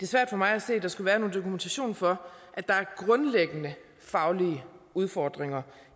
svært for mig at se at der skulle være nogen dokumentation for at der er grundlæggende faglige udfordringer